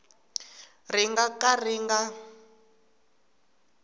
ri nga ka ri nga